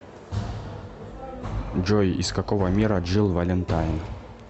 джой из какого мира джилл валентайн